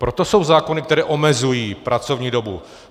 Proto jsou zákony, které omezují pracovní dobu.